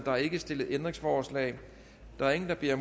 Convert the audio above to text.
er ikke stillet ændringsforslag der er ingen der beder